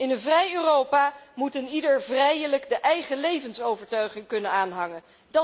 In een vrij Europa moet eenieder vrijelijk de eigen levensovertuiging kunnen aanhangen.